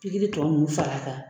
Pikiri tɔ nunnu fara kan